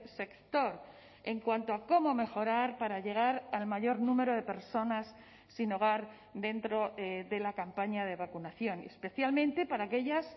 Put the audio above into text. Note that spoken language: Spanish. sector en cuanto a cómo mejorar para llegar al mayor número de personas sin hogar dentro de la campaña de vacunación y especialmente para aquellas